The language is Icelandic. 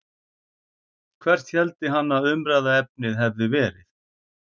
Hvert héldi hann að umræðuefnið hefði verið?